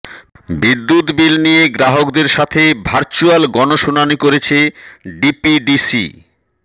বিদ্যুৎ বিল নিয়ে গ্রাহকদের সাথে ভার্চুয়াল গণশুনানি করেছে ডিপিডিসি